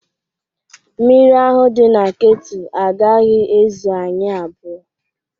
Mmiri ahụ dị na ketụ agaghị ezu anyị abụọ